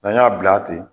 N'an y'a bila ten